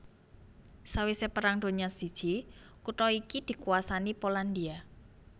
Sawisé Perang Donya I kutha iki dikuwasani Polandia